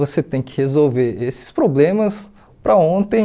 Você tem que resolver esses problemas para ontem,